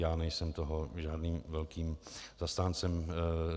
Já nejsem toho žádným velkým zastáncem.